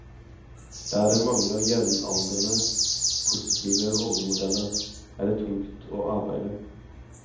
Der det mangler jevnaldrende positive rollemodeller, er det tungt å arbeide.